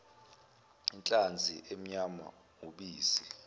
inhlanzi inyama ubisi